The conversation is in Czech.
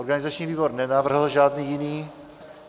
Organizační výbor nenavrhl žádný jiný.